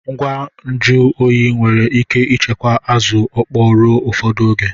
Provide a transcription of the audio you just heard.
Ngwa nju oyi nwere ike ichekwa Azu okpo ruo ufodu oge